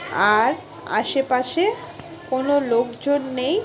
আর আশেপাশে কোনো লোকজন নেই।